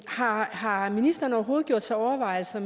har har ministeren overhovedet gjort sig overvejelser